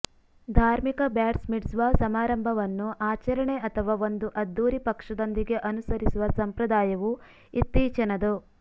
ಧಾರ್ಮಿಕ bat mitzvah ಸಮಾರಂಭವನ್ನು ಆಚರಣೆ ಅಥವಾ ಒಂದು ಅದ್ದೂರಿ ಪಕ್ಷದೊಂದಿಗೆ ಅನುಸರಿಸುವ ಸಂಪ್ರದಾಯವು ಇತ್ತೀಚಿನದು